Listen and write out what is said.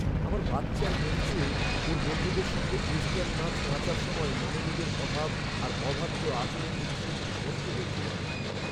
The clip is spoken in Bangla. আমার বাচ্চার মঞ্চে ওর বন্ধুদের সঙ্গে ওয়েস্টার্ন নাচ নাচার সময় মনোযোগের অভাব আর অবাধ্য আচরণ দেখে সত্যিই কষ্ট হয়েছিল আমার।